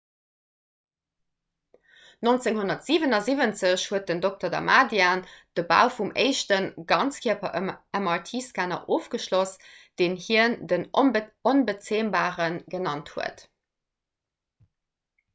1977 huet den dr. damadian de bau vum éischte 'ganzkierper'-mrt-scanner ofgeschloss deen hien den 'onbezämbare' genannt huet